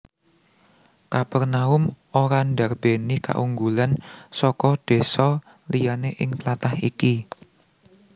Kapernaum ora ndarbèni kaunggulan saka désa liyané ing tlatah iki